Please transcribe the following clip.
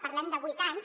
parlem de vuit anys